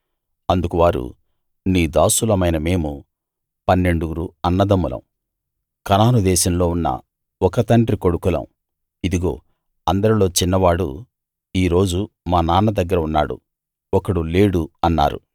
అందుకు వారు నీ దాసులమైన మేము పన్నెండుగురు అన్నదమ్ములం కనాను దేశంలో ఉన్న ఒక తండ్రి కొడుకులం ఇదిగో అందరిలో చిన్నవాడు ఈ రోజు మా నాన్న దగ్గర ఉన్నాడు ఒకడు లేడు అన్నారు